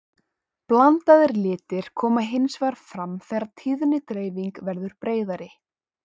blandaðir litir koma hins vegar fram þegar tíðnidreifingin verður breiðari